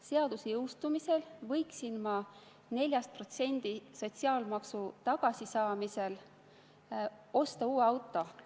Seaduse jõustumisel võiksin 4% sotsiaalmaksu tagasi saamisel osta uue auto.